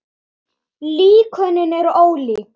Líkönin eru ólík.